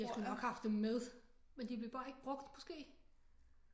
De har sgu nok haft det med men de blev bare ikke brugt måske